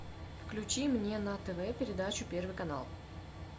включи мне на тв передачу первый канал